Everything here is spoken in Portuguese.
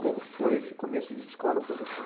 Como foi esse começo de escola para você?